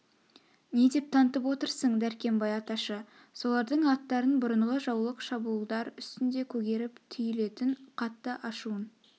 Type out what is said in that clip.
не деп тантып отырсың дәркембай аташы солардың аттарын бұрынғы жаулық шабуылдар үстнде көгеріп түйлетін қатты ашуын